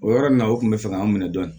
O yɔrɔ nin na u kun bɛ fɛ ka anw minɛ dɔɔnin